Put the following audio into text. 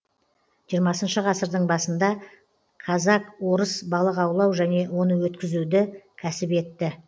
жиырмасыншы ғасырдың басында казак орыс балық аулау және оны өткізуді кәсіп етті